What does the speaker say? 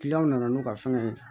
nana n'u ka fɛngɛ ye